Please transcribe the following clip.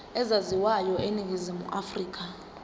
ezaziwayo eningizimu afrika